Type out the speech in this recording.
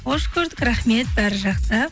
қош көрдік рахмет бәрі жақсы